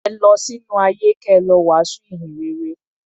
Ẹ lọ sínú ayé kẹ lọ wàásù ìhìn rere.